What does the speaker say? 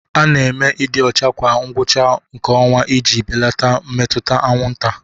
A na-eme ịdị ọcha kwa ngwụcha nke ọnwa iji belata mmetụta anwụnta.